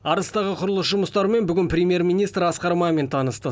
арыстағы құрылыс жұмыстарымен бүгін премьер министр асқар мамин танысты